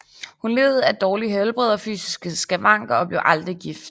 Hun led af dårligt helbred og fysiske skavanker og blev aldrig gift